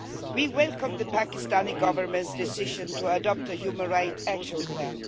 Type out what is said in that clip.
We welcome the Pakistani Government's decision to adopt the Human Rights Action Plan